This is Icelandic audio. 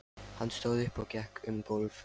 Hann stóð upp og gekk um gólf.